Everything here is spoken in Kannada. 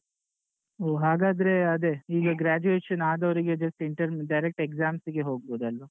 ಹೊ ಹಾಗಾದ್ರೆ ಅದೆ ಈಗ graduation ಆದವರಿಗೆ just intern direct exams ಗೆ ಹೋಗ್ಬಹುದಲ್ಲ.